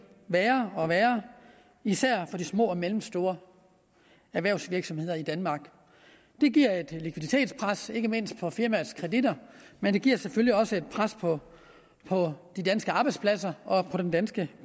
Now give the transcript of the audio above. værre og værre især for de små og mellemstore erhvervsvirksomheder i danmark det giver et likviditetspres ikke mindst på firmaets kreditter men det giver selvfølgelig også et pres på på de danske arbejdspladser og på den danske